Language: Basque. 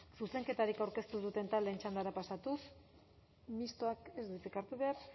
zuzenketarik aurkeztu duten taldera pasatuz mistoak ez du hitzik hartu behar